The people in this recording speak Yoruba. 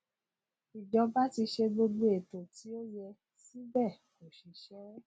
ìjọba ti ṣe gbogbo ètò tí ó yẹ síbẹ kò ṣiṣẹ